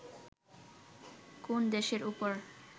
কোন দেশের উপর